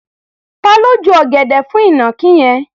Ta ló ju ọ̀gẹ̀dẹ̀ fún ìnàkí yẹn?